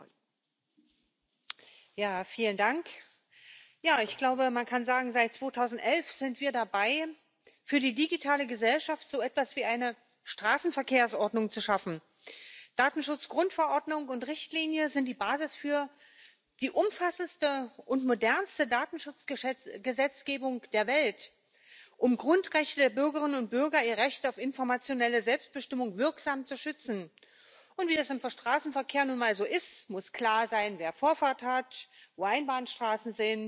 EDSB notwendig. Lassen Sie mich abschließend ein persönliches Wort sagen Vielen Dank an die Schattenberichterstatter, die wirklich meine absolute Stütze waren. Wir sind eine kleine Fraktion, da muss man wirklich ackern. Und auch den Mitarbeitern sei Dank gesagt. Wir hätten sonst nicht so agieren können. Der Dank geht auch an die Kommission, die nicht nur einen guten Entwurf auf den Tisch gelegt hat, sondern als Vermittlerin hilfreich war, den Juristischen Dienst, das LIBE Sekretariat. All das sind